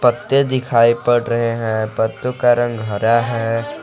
पत्ते दिखाई पड़ रहे हैं पत्तों का रंग हरा है।